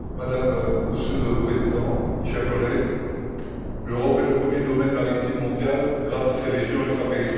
Monsieur le Président, chers collègues, l'Europe est le premier espace maritime mondial, grâce à ses régions ultrapériphériques.